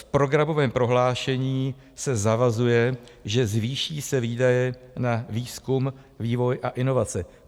V programovém prohlášení se zavazuje, že se zvýší výdaje na výzkum, vývoj a inovace.